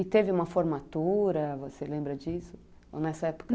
E teve uma formatura, você lembra disso? Ou nessa época